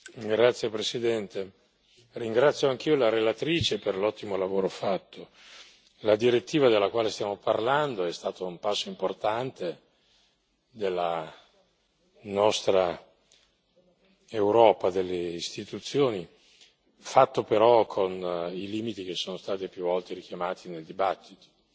Signor Presidente, onorevoli colleghi, ringrazio anch'io la relatrice per l'ottimo lavoro fatto. La direttiva della quale stiamo parlando è stata un passo importante della nostra Europa, delle istituzioni, fatto però con i limiti che sono stati più volte richiamati nella discussione.